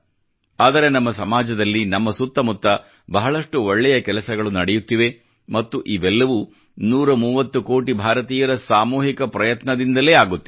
ಆದರೆ ನಮ್ಮ ಸಮಾಜದಲ್ಲಿ ನಮ್ಮ ಸುತ್ತ ಮುತ್ತ ಬಹಳಷ್ಟು ಒಳ್ಳೇ ಕೆಲಸಗಳು ನಡೆಯುತ್ತಿವೆ ಮತ್ತು ಇವೆಲ್ಲವೂ 130 ಕೋಟಿ ಭಾರತೀಯರ ಸಾಮೂಹಿಕ ಪ್ರಯತ್ನದಿಂದಲೇ ಆಗುತ್ತಿದೆ